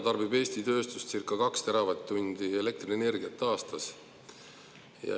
Eesti tööstus tarbib circa 2 teravatt-tundi elektrienergiat aastas.